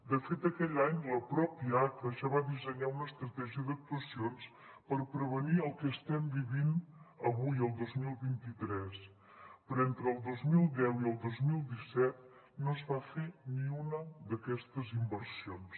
de fet aquell any la pròpia aca ja va dissenyar una estratègia d’actuacions per prevenir el que estem vivint avui el dos mil vint tres però entre el dos mil deu i el dos mil disset no es va fer ni una d’aquestes inversions